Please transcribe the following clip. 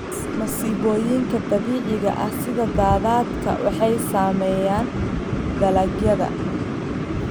Masiibooyinka dabiiciga ah sida daadadka waxay saameeyaan dalagyada.